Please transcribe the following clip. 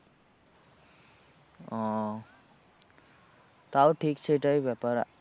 ও তাও ঠিক সেইটাই ব্যাপার।